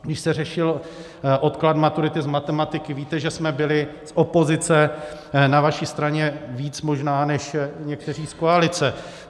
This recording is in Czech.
Když se řešil odklad maturity z matematiky, víte, že jsme byli z opozice na vaší straně víc možná než někteří z koalice.